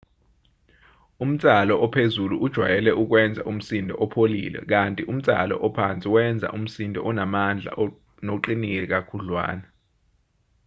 umnsalo ophezulu ujwayele ukwenza umsindo opholile kanti umnsalo ophansi wenza umsindo onamandla noqinile kakhudlwana